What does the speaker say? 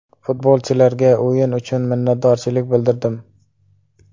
Futbolchilarga o‘yin uchun minnatdorchilik bildirdim.